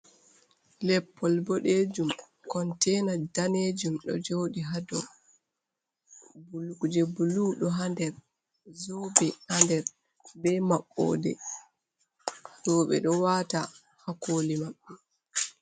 Leppol boɗejum kontena danejum ɗo joɗi ha dou je bulu ɗo ha nder zobe ha nder be maɓɓode roɓe ɗo wata ha koli maɓɓe.